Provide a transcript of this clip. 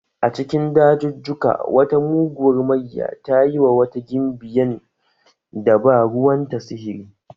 A cikin dajujjuka, wata muguwar mayya ta yi wa wata gimbiyan da ba ruwanta sihiri.